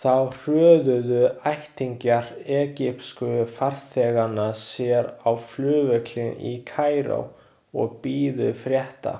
Þá hröðuðu ættingjar egypsku farþeganna sér á flugvöllinn í Kaíró og biðu frétta.